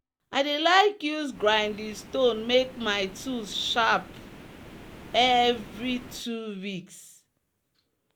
i dey like use grinding stone make my tools sharp evvery two weeks.